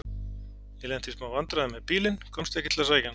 Ég lenti í smá vandræðum með bílinn. komst ekki til að sækja hann.